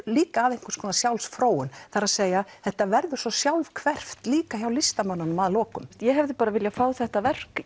líka að einhvers konar sjálfsfróun það er þetta verður svo sjálfhverft líka hjá listamönnunum að lokum ég hefði bara viljað fá þetta verk